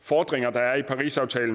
fordringer der er i parisaftalen